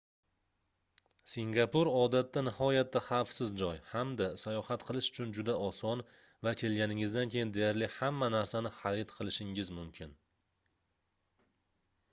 singapur odatda nihoyatda xavfsiz joy hamda sayohat qilish uchun juda oson va kelganingizdan keyin deyarli hamma narsani xarid qilishingiz mumkin